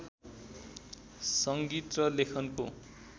सङ्गीत र लेखनको